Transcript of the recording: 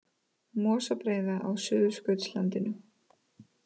Mosabreiða á Suðurskautslandinu.